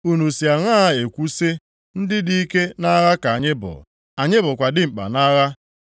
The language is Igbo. “Unu si aṅaa ekwu sị, ‘Ndị dị ike nʼagha ka anyị bụ; anyị bụkwa dimkpa nʼagha’?